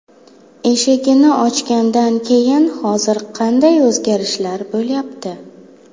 Eshigini ochgandan keyin hozir qanday o‘zgarishlar bo‘lyapti?!